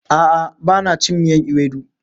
A'a bana cin miyan ewedu.